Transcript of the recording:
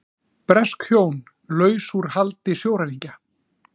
Bresk hjón laus úr haldi sjóræningja